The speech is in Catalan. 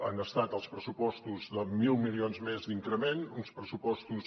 han estat els pressupostos de mil milions més d’increment uns pressupostos